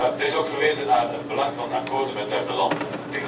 Er is ook verwezen naar het belang van akkoorden met derde landen.